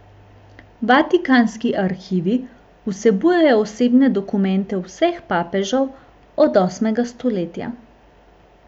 Vatikanski arhivi vsebujejo osebne dokumente vseh papežev od osmega stoletja.